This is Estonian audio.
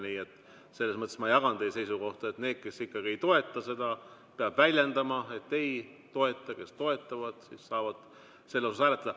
Nii et selles mõttes ma jagan teie seisukohta, et need, kes ei toeta, peavad seda väljendama, et ei toeta, ja kes toetavad, saavad selle poolt hääletada.